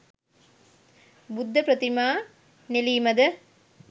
බුද්ධ ප්‍රතිමා නෙළීමද